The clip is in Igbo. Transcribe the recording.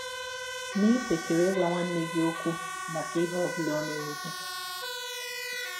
Ma ì kwesịrị ịgwa nwanne gị ọkwụ maka ihe ọ bụla ọ mere gị?